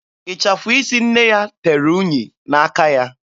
Ịchafụ isi nne ya tere unyi n'aka ya.